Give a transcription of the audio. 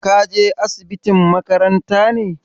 Ka je asibitin makaranta ne?